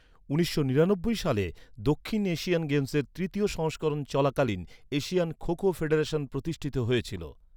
উনিশশো নিরানব্বই সালে, দক্ষিণ এশিয়ান গেমসের তৃতীয় সংস্করণ চলাকালীন এশিয়ান খো খো ফেডারেশন প্রতিষ্ঠিত হয়েছিল।